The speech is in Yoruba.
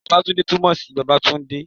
Babatunde tún mo sí bàbá tún ti de